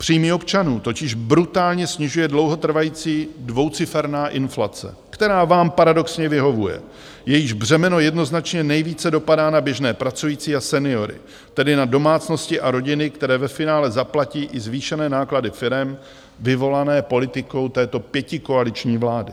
Příjmy občanů totiž brutálně snižuje dlouhotrvající dvouciferná inflace, která vám paradoxně vyhovuje, jejíž břemeno jednoznačně nejvíce dopadá na běžné pracující a seniory, tedy na domácnosti a rodiny, které ve finále zaplatí i zvýšené náklady firem vyvolané politikou této pětikoaliční vlády.